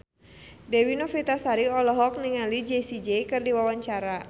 Dewi Novitasari olohok ningali Jessie J keur diwawancara